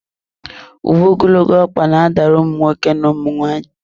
Uwe ogologo ọkpa na-adara ụmụ nwoke na ụmụ nwaanyị.